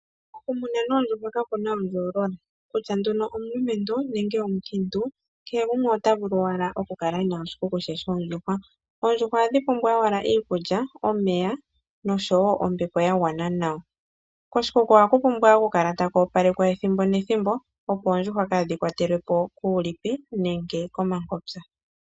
Okumuna noondjuhwa ka ku na ondjoolola, kutya nee omulumentu nenge omukiintu ayehe otaa vulu owala okukala ye na iikuku yawo yoondjuhwa. Oondjuhwa ohadhi pumbwa owala iikulya, omeya nosho woo ombepo ya gwana nawa. Koshikuku ohaku pumbwa okukala taku opalekwa ethimbo nethimbo opo oondjuhwa kaadhi kwatelweko kuulipi nenge komankotsa.